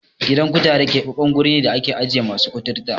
Gidan kutare keɓaɓɓen wuri ne da ake ajiye masu kuturta.